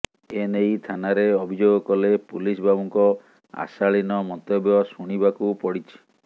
ଏ ନେଇ ଥାନାରେ ଅଭିଯୋଗ କଲେ ପୁଲିସ ବାବୁଙ୍କ ଅଶାଳୀନ ମନ୍ତବ୍ୟ ଶୁଣିବାକୁ ପଡ଼ିଛି